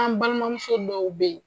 K'an balimamuso dɔw be yen